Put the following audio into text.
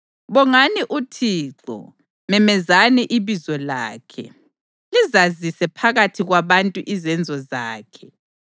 Bongani uThixo, memezani ibizo lakhe, lizazise phakathi kwabantu izenzo zakhe.